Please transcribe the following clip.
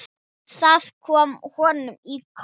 Það kom honum í koll.